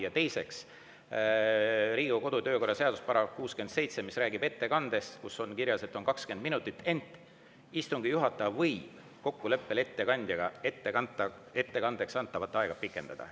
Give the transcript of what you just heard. Ja teiseks, Riigikogu kodu- ja töökorra seaduse §‑s 67, mis räägib ettekandest, on kirjas, et selleks on 20 minutit, ent istungi juhataja võib kokkuleppel ettekandjaga ettekandeks antavat aega pikendada.